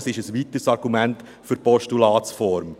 Dies ist ein weiteres Argument für die Postulatsform.